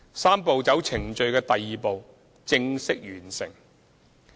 "三步走"程序的第二步正式完成。